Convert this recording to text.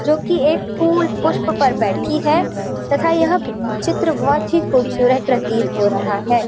जोकि एक फूल (पुष्प) पर बैठी है तथा यह चित्र बहुत ही खूबसूरत प्रतीत हो रहा है|